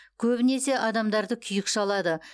көбінесе адамдарды күйік шалады